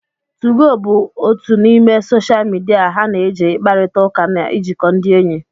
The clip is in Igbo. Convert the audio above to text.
2go bụ otu n'ime soshal midia ha na eji ịkparịta ụka na ijikọ ndị enyi